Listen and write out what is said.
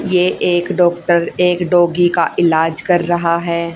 ये एक डॉक्टर एक डॉगी का इलाज कर रहा है।